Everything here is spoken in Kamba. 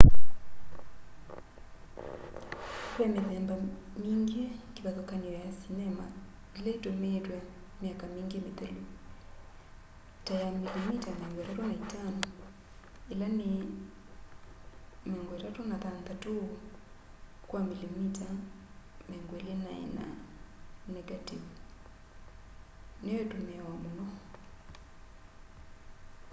ve mithemba mingi kivathukany'o ya sinema ila itumiitwe myaka mingi mithelu. ta ya milimita 35 36 kwa milimita 24 nengativu niyo itumiawa muno